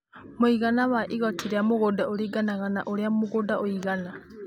Mũigana wa igooti rĩa mũgũnda ũringanaga na ũrĩa mũgũnda ũigana.